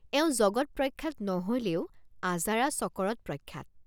এওঁ জগৎ প্ৰখ্যাত নহলেও আজাৰা চকৰদ প্ৰখ্যাত।